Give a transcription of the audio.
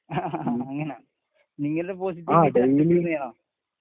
ങാ അങ്ങനെ , നിങ്ങളുടെ